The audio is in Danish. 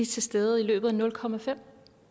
til stede i løbet af nul komma fem